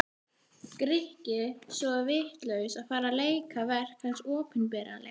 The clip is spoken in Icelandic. Grikki svo vitlaus að fara að leika verk hans opinberlega.